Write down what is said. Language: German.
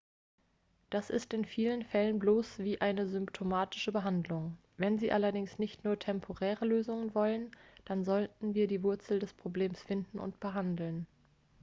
das ist in vielen fällen bloß wie eine symptomatische behandlung wenn sie allerdings nicht nur temporäre lösungen wollen dann sollten wir die wurzel des problems finden und behandeln